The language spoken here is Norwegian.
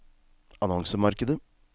annonsemarkedet